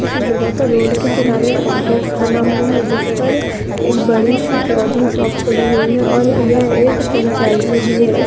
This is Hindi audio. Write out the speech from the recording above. किसी जगह पर रोड के किनारे काम्प्लेक्स बना हुआ है जिस पर एक बड़ी सी क्लॉथिंग शॉप खुली हुई है और यह एक फ्रेंचाइजी भी है इस--